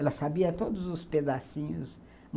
Ela sabia todos os pedacinhos.